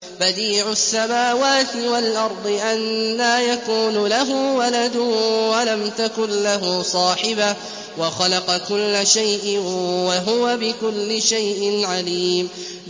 بَدِيعُ السَّمَاوَاتِ وَالْأَرْضِ ۖ أَنَّىٰ يَكُونُ لَهُ وَلَدٌ وَلَمْ تَكُن لَّهُ صَاحِبَةٌ ۖ وَخَلَقَ كُلَّ شَيْءٍ ۖ وَهُوَ بِكُلِّ شَيْءٍ عَلِيمٌ